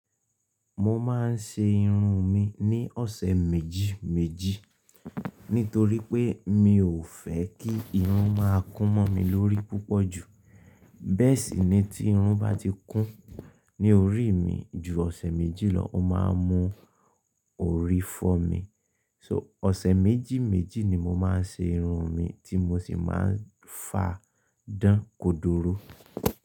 Mo máa ń ṣe irun mi ní ọ̀sẹ̀ méjì méjì nítorí pé mi ò fẹ́ kí irun máa kún mọ́ mi lórí púpọ̀ jù. Bẹ́ẹ̀ sì ni tí irun bá ti kún ní orí mi ju ọ̀sẹ̀ méjì lọ, ó máa ń mú orí fọ́ mi. So ọ̀sẹ̀ méjì méjì ni mo máa ń ṣe irun mi tí mo sì máa ń fa dán kodoro.